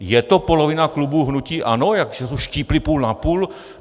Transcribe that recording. Je to polovina klubu hnutí ANO, jako že to štípli půl na půl?